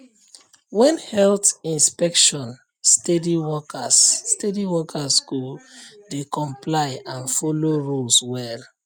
when health inspection um steady workers um steady workers um go um dey comply and follow rules well